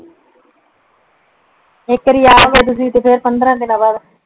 ਇੱਕ ਵਾਰੀ ਆ ਤੇ ਫੇਰ ਪੰਦਰਾਂ ਦੀਨਾ ਬਾਅਦ